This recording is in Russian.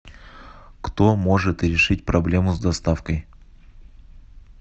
кто может решить проблему с доставкой